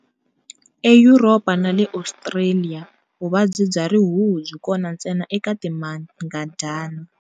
EYuropa na le Australia, vuvabyi bya rihuhu byi kona ntsena eka timangadyana.